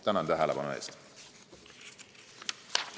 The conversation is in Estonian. Tänan tähelepanu eest!